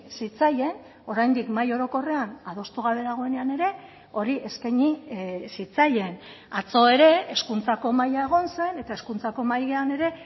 zitzaien oraindik mahai orokorrean adostu gabe dagoenean ere hori eskaini zitzaien atzo ere hezkuntzako mahaia egon zen eta hezkuntzako mahaian ere